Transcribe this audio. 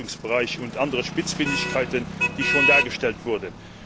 hinsichtlich des Geltungsbereichs und anderer Spitzfindigkeiten, die schon dargestellt wurden.